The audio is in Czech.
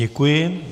Děkuji.